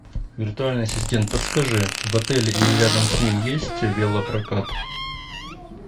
виртуальный ассистент подскажи в отеле или рядом с ним есть велопрокат